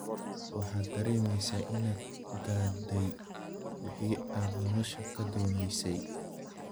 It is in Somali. Waxaad dareemaysaa inaad gaadhay wixii aad nolosha ka doonaysay.